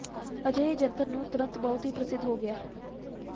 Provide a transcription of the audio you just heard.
ਅਜਿਹੇ ਜੰਤਰ ਨੂੰ ਤੁਰੰਤ ਬਹੁਤ ਹੀ ਪ੍ਰਸਿੱਧ ਹੋ ਗਿਆ